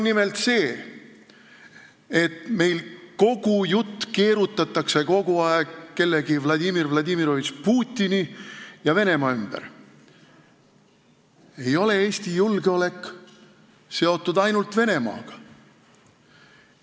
Nimelt, meil keerutatakse seda juttu kogu aeg kellegi Vladimir Vladimirovitš Putini ja Venemaa ümber, aga Eesti julgeolek ei ole seotud ainult Venemaaga.